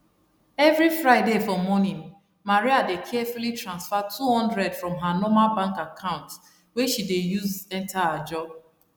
everi friday for morning maria dey carefully transfer 200 from her normal bank account wey she dey use enter ajo